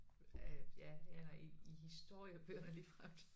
Øh ja eller i i historiebøgerne ligefremt